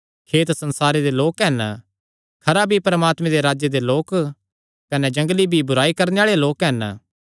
खेत संसारे दे लोक हन खरा बीई परमात्मे दे राज्जे दे लोक कने जंगली बीई बुराई करणे आल़े लोक हन